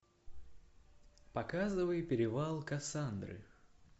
показывай перевал касандры